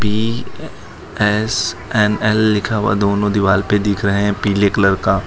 B SNL लिखा हुआ दोनों दीवाल पे दिख रहे हैं पीले कलर का।